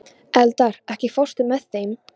Eldar, ekki fórstu með þeim?